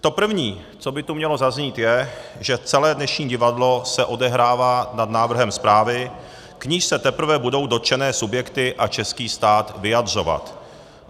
To první, co by tu mělo zaznít, je, že celé dnešní divadlo se odehrává nad návrhem zprávy, k níž se teprve budou dotčené subjekty a český stát vyjadřovat.